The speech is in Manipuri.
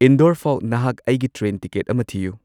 ꯏꯟꯗꯣꯔ ꯐꯥꯎ ꯅꯍꯥꯛ ꯑꯩꯒꯤ ꯇ꯭ꯔꯦꯟ ꯇꯤꯀꯦꯠ ꯑꯃ ꯊꯤꯌꯨ